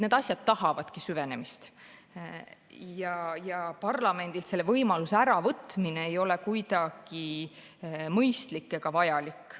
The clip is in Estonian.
Need asjad tahavadki süvenemist ja parlamendilt selle võimaluse äravõtmine ei ole kuidagi mõistlik ega vajalik.